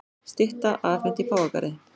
Stytta afhent í Páfagarði